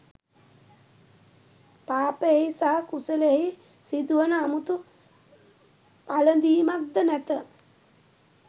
පාපයෙහි සහ කුසලයෙහි සිදුවන අමුතු පළඳිමක් ද නැත.